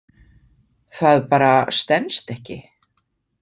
Það bara stenst ekki.